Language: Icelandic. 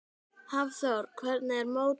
Hafþór: Hvernig er mótið?